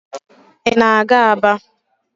Ị na-aga Aba?